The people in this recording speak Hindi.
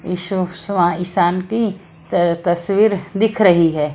ईसान की तस्वीर दिख रही है।